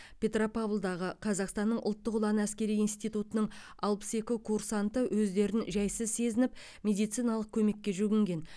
петропавлдағы қазақстанның ұлттық ұланы әскери интитутының алпыс екі курсанты өздерін жайсыз сезініп медициналық көмекке жүгінген